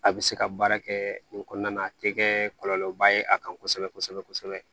A bɛ se ka baara kɛ nin kɔnɔna na a tɛ kɛ kɔlɔlɔba ye a kan kosɛbɛ kosɛbɛ